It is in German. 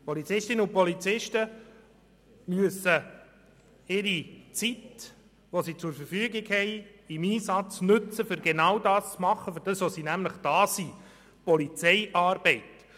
Die Polizistinnen und Polizisten müssen die Zeit, die sie zur Verfügung haben, im Einsatz nutzen, um genau das zu tun, wofür sie da sind, nämlich Polizeiarbeit.